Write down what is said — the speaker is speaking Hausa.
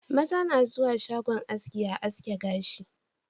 Maza na zuwa shagon haski a haske gashi